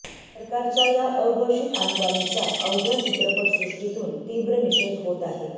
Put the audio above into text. सरकारच्या या अघोषित आणीबाणीचा अवघ्या चित्रपटसृष्टीतून तीक्र निषेध होत आहे